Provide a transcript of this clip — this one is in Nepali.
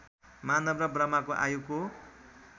मानव र ब्रह्माको आयुको